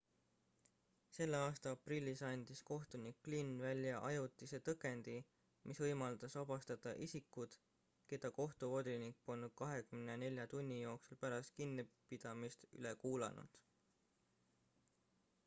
selle aasta aprillis andis kohtunik glynn välja ajutise tõkendi mis võimaldas vabastada isikud keda kohtuvolinik polnud 24 tunni jooksul pärast kinnipidamist üle kuulanud